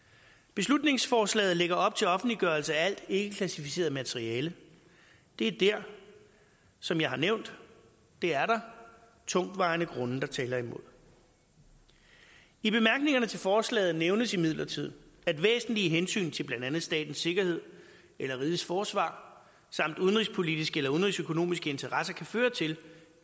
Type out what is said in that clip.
beslutningsforslaget lægger op til offentliggørelse af alt ikkeklassificeret materiale det er der som jeg har nævnt tungtvejende grunde der taler imod i bemærkningerne til forslaget nævnes imidlertid at væsentlige hensyn til blandt andet statens sikkerhed eller rigets forsvar samt udenrigspolitiske eller udenrigsøkonomiske interesser kan føre til